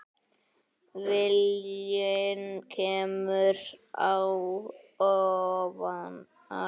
Viljinn kemur á óvart.